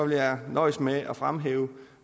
jeg nøjes med at fremhæve